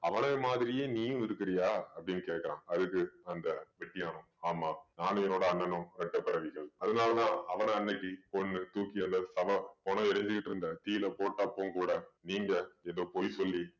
மாதிரியே நீயும் இருக்கிறியா அப்படின்னு கேட்கிறான் அதுக்கு அந்த வெட்டியான் ஆமாம் நானும் என்னோட அண்ணனும் இரட்டை பிறவிகள் அதனாலதான் அவன அன்னைக்கு கொன்னு தூக்கி சவம் பொணம் எரிஞ்சிட்டு இருந்த தீயில போட்ட அப்பவும் கூட நீங்க ஏதோ பொய் சொல்லி